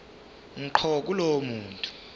ngqo kulowo muntu